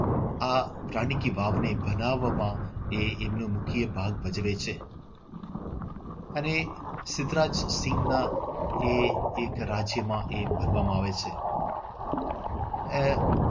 આ રાણી કી વાવને બનાવવામાં એ એમનો મુખ્ય ભાગ ભજવે છે. અને સિદ્ધરાજસિંહના એ એક રાજ્યમાં એ બનવામાં આવે છે. આહ